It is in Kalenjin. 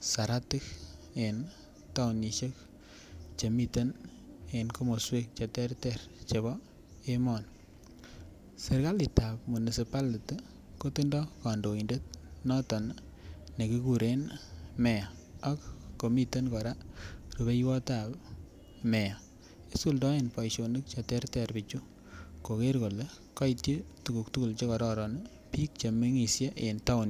saratik en taonisiek Che miten en komoswek Che terter chebo emoni serkalit ab municipality kotindoi kandoindet noton nekikuren meya ak komiten kora rubeiwotab meya isuldoen boisionik Che terter bichu koger kole kaityi tuguk tugul Che kororon bik Che mengisie en taonisiek